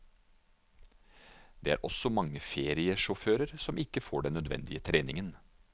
Det er også mange feriesjåfører som ikke får den nødvendige treningen.